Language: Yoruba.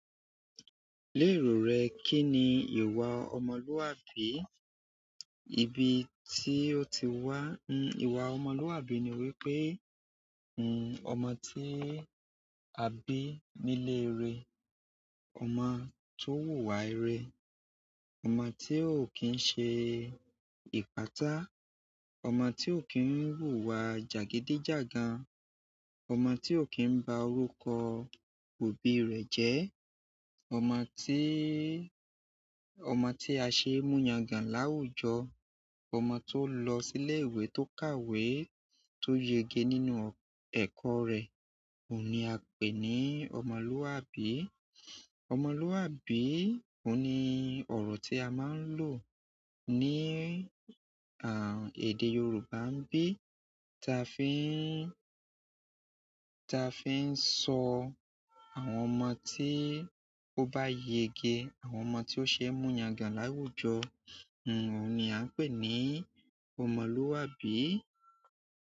Léèrò rẹ, kí ni ìwà ọmọlúwàbí? Ibi tí ó ti wá. N- ìwà ọmọlúwàbí ni wípé, n, ọmọ tí a bí nílé ire, ọmọ tó wùwà ire, ọmọ tí ó kì ń ṣe ìpátá, ọmọ tí ó kì ń wùwà jàgídí jàgan, ọmọ tí ò kí ń ba orúkọ òbí rẹ jẹ́, ọmọ tí, ọmọ tí a ṣee mú yangàn láwùjọ, ọmọ tó lọ sílé ìwé tó kàwé, tó yege nínú ẹ̀kọ́ rẹ̀, òun ni a ń pè ní ọmọlúwàbí. Ọmọlúwàbí òhun ni ọ̀rọ̀ tí a máa ń lò ní, àń, èdè Yorùbá n bí ta fi ń, ta fi ń sọ àwọn ọmọ tí ó bá yege, àwọn ọmọ tí ó ṣe mú yangàn láwùjọ, n, òun ni a ń pè ní ọmọlúwàbí.